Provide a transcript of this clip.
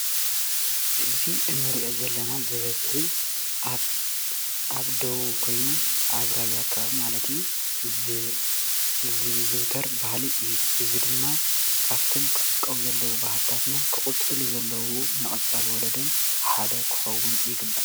እዚ እንሪኦ ዘለና ብበዝሒ ኣብ ደቡብ ኮይኑ ኣብ ራያ ከባቢ ማለት እዩ፡፡ ዝዝውተር ባህሊ እዩ፡፡ እዚ ድማ ካብቶም ክዕቀቡ ዘለዎም ባህልታትና ክቅፅሉ ዘለዎም ንቀፃሊ ወለዶን ሓደ ክከውን ይግባእ፡፡